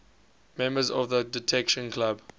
members of the detection club